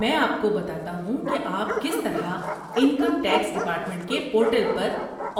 میں آپ کو بتاتا ہوں کہ آپ کس طرح انکم ٹیکس ڈپارٹمنٹ کے پورٹل پر